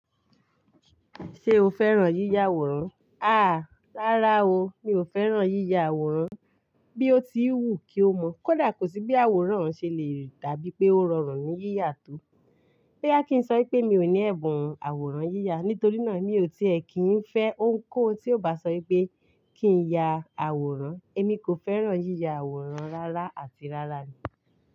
Ṣé o fẹ́ràn yíya àwòrán? Àá, rárá o, mi ò fẹ́ràn yíya àwòrán. Bí ó ti wù kí ó mọ́, kódà kò sí bí àwòrán ṣe le rí dà bí pé ó rọrùn ní yíya tó. Bí a kì í sọ pé mi ò ní ẹ̀bùn àwòrán yíya, nítorí náà mi ò tí è kí ń fẹ́ ohunkóhun tí ó bá sọ wípé kí n ya àwòrán. Èmi kò fẹ́ràn yíya àwòrán rárá àti rárá ni.